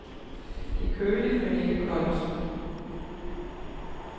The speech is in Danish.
Det er køligt, men ikke koldt.